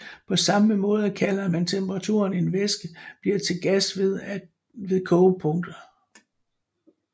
På samme måde kalder man temperaturen en væske bliver til gas ved for kogepunktet